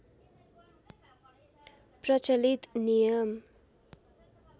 प्रचलित नियम